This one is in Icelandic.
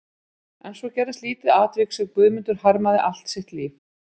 En svo gerðist lítið atvik sem Guðmundur harmaði allt sitt líf.